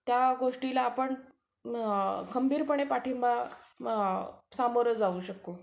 त्या गोष्टीला आपण खंबीरपणे पाठिंबा अं सामोरे जाऊ शकतो.